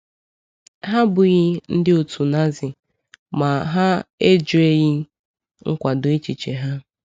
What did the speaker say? Ha abụghị ndị otu Nazi ma ha ejweghị nkwado echiche ha.